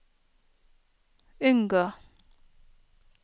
unngå